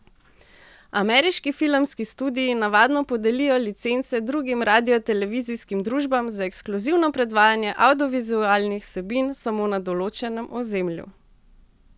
Ameriški filmski studii navadno podelijo licence drugim radiotelevizijskim družbam za ekskluzivno predvajanje avdiovizualnih vsebin samo na določenem ozemlju.